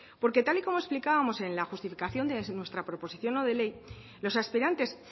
porque tal y como explicábamos en la justificación de nuestra proposición no de ley los aspirantes